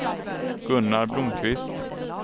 Gunnar Blomkvist